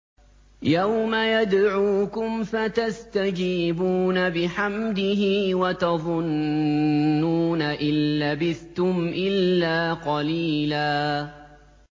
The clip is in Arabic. يَوْمَ يَدْعُوكُمْ فَتَسْتَجِيبُونَ بِحَمْدِهِ وَتَظُنُّونَ إِن لَّبِثْتُمْ إِلَّا قَلِيلًا